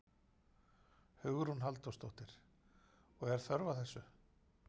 Hugrún Halldórsdóttir: Og er þörf á þessu?